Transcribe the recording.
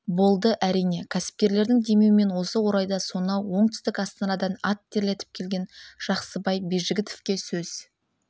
болды әрине кәсіпкерлердің демеуімен осы орайда сонау оңтүстік астанадан ат терлетіп келген жақсыбай бижігітовке сөз